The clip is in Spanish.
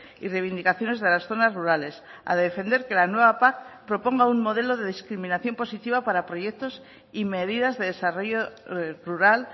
y reivindicaciones de las zonas rurales a defender que la nueva pac proponga un modelo de discriminación positiva para proyectos y medidas de desarrollo rural